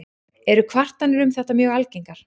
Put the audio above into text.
Eru kvartanir um þetta mjög algengar.